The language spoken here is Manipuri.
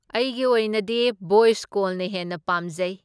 ꯑꯩꯒꯤ ꯑꯣꯏꯅꯗꯤ ꯚꯣꯏꯁ ꯀꯣꯜꯅ ꯍꯦꯟꯅ ꯄꯥꯝꯖꯩ꯫